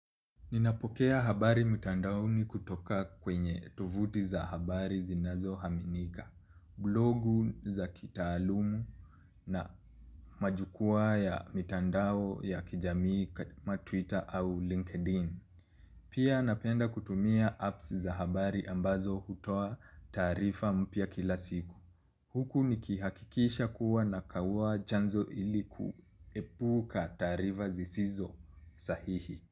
Ninapokea habari mitandao ni kutoka kwenye tuvuti za habari zinazo haminika, blogu za kitaalumu na majukua ya mitandao ya kijamii kama twita au linkedin. Pia napenda kutumia apps za habari ambazo hutoa taarifa mpya kila siku. Huku nikihakikisha kuwa na kauwa chanzo ili kuepuka taarifa zisizo sahihi.